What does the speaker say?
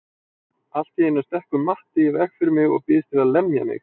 Allt í einu stekkur Matti í veg fyrir mig og býðst til að lemja mig.